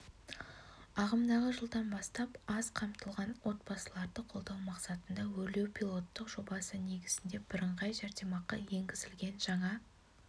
ағымдағы жылдан бастап аз қамтылған отбасыларды қолдау мақсатында өрлеу пилоттық жобасы негізінде бірыңғай жәрдемақы енгізілген жаңа